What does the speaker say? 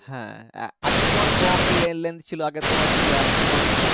হ্যাঁ আগে তোমার কম le length ছিল আগে তোমার ছিল একশো